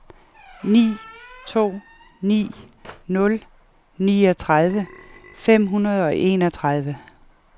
ni to ni nul niogtredive fem hundrede og enogtredive